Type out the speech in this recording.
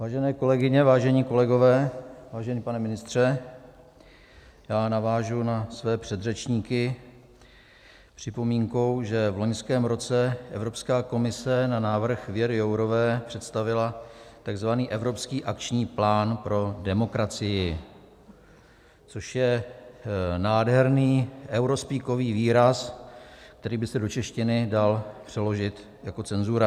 Vážené kolegyně, vážení kolegové, vážený pane ministře, já navážu na své předřečníky připomínkou, že v loňském roce Evropská komise na návrh Věry Jourové představila tzv. Evropský akční plán pro demokracii, což je nádherný eurospeakový výraz, který by se do češtiny dal přeložit jako cenzura.